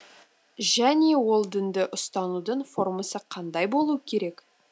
және ол дінді ұстанудың формасы қандай болуы керек